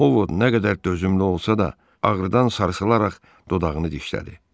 Ovod nə qədər dözümlü olsa da, ağrıdan sarılsılaraq dodağını dişlədi.